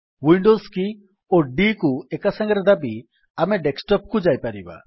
Windows key ଓ D କୁ ଏକାସାଙ୍ଗରେ ଦାବି ଆମେ ଡେସ୍କଟପ୍ କୁ ଯାଇପାରିବା